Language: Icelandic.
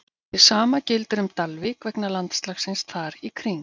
Hið sama gildir um Dalvík vegna landslagsins þar í kring.